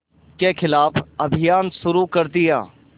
के ख़िलाफ़ अभियान शुरू कर दिया